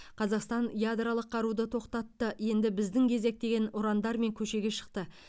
қазақстан ядролық қаруды тоқтатты енді біздің кезек деген ұрандармен көшеге шықты